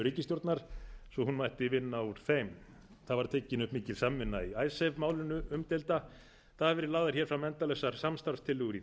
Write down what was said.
ríkisstjórnar svo hún mætti vinna úr þeim það var tekin upp mikil samvinna í icesave málinu umdeilda það hafa verið lagðar fram hér endalausar samstarfstillögur í